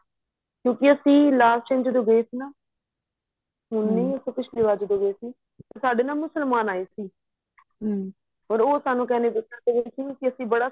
ਕਿਉਂਕਿ ਅਸੀਂ last time ਜਦੋਂ ਆਪਾਂ ਗਏ ਸੀ ਨਾ ਪਿਛਲੀ ਵਾਰ ਜਦੋਂ ਗਏ ਸੀ ਸਾਡੇ ਨਾ ਮੁਸਲਮਾਨ ਆਏ ਸੀ ਉਹ ਸਾਨੂੰ ਕਹਿੰਦੇ ਪੁੱਤਰ ਅਸੀਂ